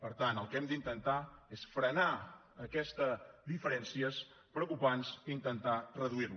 per tant el que hem d’intentar és frenar aquestes diferències preocupar nos d’intentar reduir les